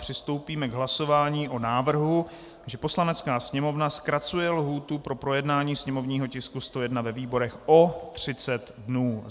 Přistoupíme k hlasování o návrhu, že Poslanecká sněmovna zkracuje lhůtu pro projednání sněmovního tisku 101 ve výborech o 30 dnů.